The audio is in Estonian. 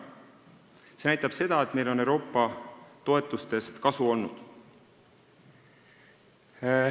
See näitab seda, et meil on Euroopa toetustest kasu olnud.